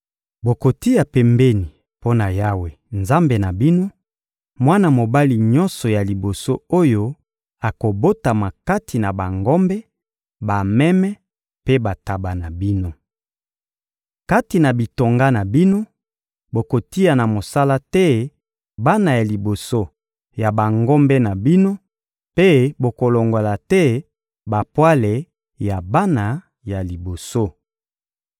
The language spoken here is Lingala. Bokotia pembeni mpo na Yawe, Nzambe na bino, mwana mobali nyonso ya liboso oyo akobotama kati na bangombe, bameme mpe bantaba na bino. Kati na bitonga na bino, bokotia na mosala te bana ya liboso ya bangombe na bino mpe bokolongola te bapwale ya bana ya liboso.